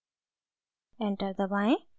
enter दबाएं